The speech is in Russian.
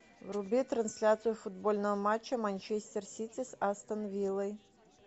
вруби трансляцию футбольного матча манчестер сити с астон виллой